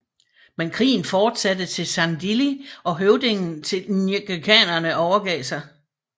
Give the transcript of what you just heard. Men krigen fortsatte til Sandili og høvdingen til ngqikaerne overgav sig